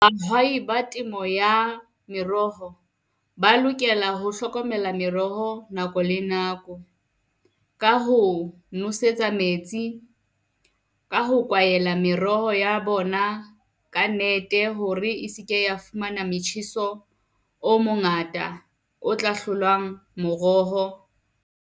Ba temo ya meroho ba lokela ho hlokomela meroho nako le nako. Ka ho nosetsa metsi ka ho kwaela meroho ya bona ka nete, hore e seke ya fumana metjheso o mongata otla hlolang moroho.